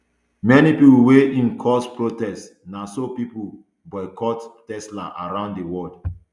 many pipo wia im cause protests na so pipo boycott tesla around di world